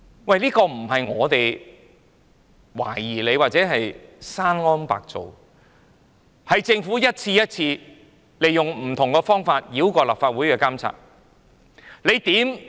這並非純屬我們的懷疑，又或者是我們捏造，事實是政府一次又一次利用不同方法繞過立法會的監察。